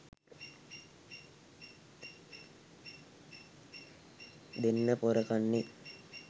දෙන්න පොර කන්නේ